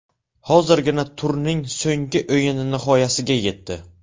Hozirgina turning so‘nggi o‘yini nihoyasiga yetdi.